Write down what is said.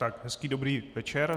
Tak hezký dobrý večer.